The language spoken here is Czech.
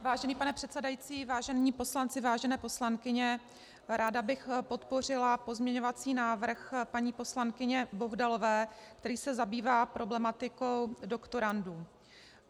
Vážený pane předsedající, vážení poslanci, vážené poslankyně, ráda bych podpořila pozměňovací návrh paní poslankyně Bohdalové, který se zabývá problematikou doktorandů.